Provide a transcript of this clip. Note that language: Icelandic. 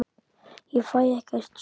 Ég fæ ekkert svar.